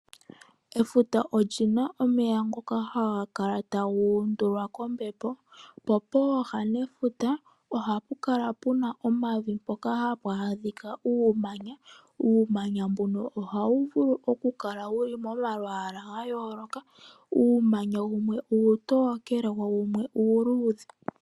Efuta olina omeya ngoka haga kala taga uundulwa kombepo, po pooha dhefuta ohapu kala puna omavi mpoka hapu adhika uumanya, uumanya mbuka ohawu vulu oku kala wuli momalwaala ga yooloka, uumanya wumwe uutokele wo wumwe uuludhe.